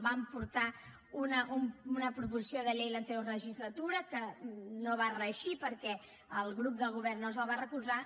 vam portar una proposició de llei l’anterior legislatura que no va reeixir perquè el grup del govern no ens la va recolzar